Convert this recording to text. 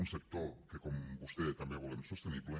un sector que com vostè també volem sostenible